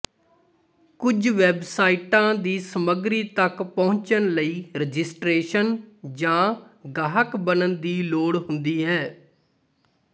ਕੁਝ ਵੈਬਸਾਈਟਾਂ ਦੀ ਸਮੱਗਰੀ ਤੱਕ ਪਹੁੰਚਣ ਲਈ ਰਜਿਸਟਰੇਸ਼ਨ ਜਾਂ ਗਾਹਕ ਬਣਨ ਦੀ ਲੋੜ ਹੁੰਦੀ ਹੈ